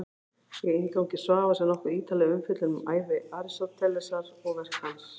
Í inngangi Svavars er nokkuð ítarleg umfjöllun um ævi Aristótelesar og verk hans.